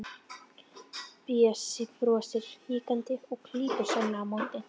Bjössi brosir hikandi og klípur Svenna á móti.